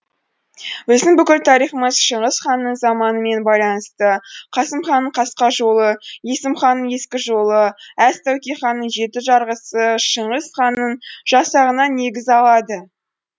біздің бүкіл тарихымыз шыңғыс ханның заманымен байланысты қасымханның қасқа жолы есімханның ескі жолы әз тәуке ханның жеті жарғысы шыңғыс ханның жасағынан негіз алады